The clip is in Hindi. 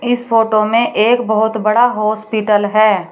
इस फोटो में एक बहुत बड़ा हॉस्पिटल है।